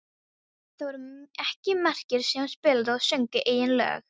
Það voru ekki margir sem spiluðu og sungu eigin lög.